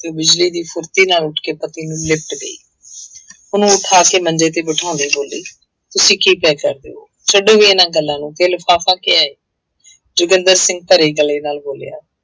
ਤੇ ਬਿਜ਼ਲੀ ਦੀ ਫੂਰਤੀ ਨਾਲ ਉੱਠ ਕੇ ਪਤੀ ਨੂੰ ਲਿਪਟ ਗਈ ਉਹਨੂੰ ਉੱਠਾ ਕੇ ਮੰਜੇ ਤੇ ਬਿਠਾਉਂਦੇ ਬੋਲੀ ਤੁਸੀਂ ਕੀ ਪਏ ਕਰਦੇ ਹੋ, ਛੱਡੋ ਵੀ ਇਹਨਾਂ ਗੱਲਾਂ ਨੂੰ ਤੇ ਲਿਫ਼ਾਫਾ ਕਿਆ ਹੈ ਜੋਗਿੰਦਰ ਸਿੰਘ ਭਰੇ ਗਲੇ ਨਾਲ ਬੋਲਿਆ,